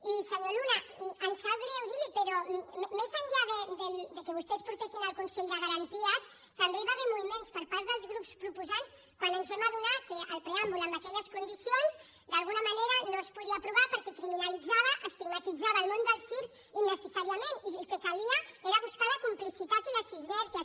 i senyor luna em sap greu dir li ho però més enllà que vostès ho portessin al consell de garanties també hi va haver moviments per part dels grups proposants quan ens vam adonar que el preàmbul amb aquelles condicions d’alguna manera no es podia aprovar perquè criminalitzava estigmatitzava el món del circ innecessàriament i el que calia era buscar la complicitat i les sinergies